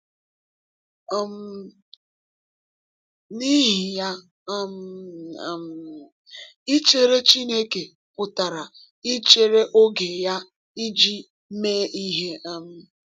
um N’ihi ya, um um ichere Chineke pụtara ichere oge ya iji mee ihe. um